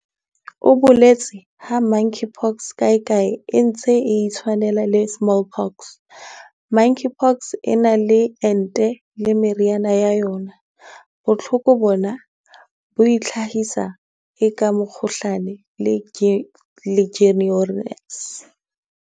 O boletse ha Monkeypox kae kae e ntse e itshwanela le Smallpox."Monkeypox e na le ente le meriana ya yona. Bohloko bona bo itlhahisa eka mokgohlane le Legionnaires."